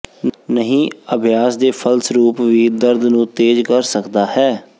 ਨਹੀ ਅਭਿਆਸ ਦੇ ਫਲਸਰੂਪ ਵੀ ਦਰਦ ਨੂੰ ਤੇਜ਼ ਕਰ ਸਕਦਾ ਹੈ